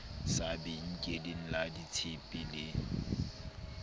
sa benkeleng la ditshepe le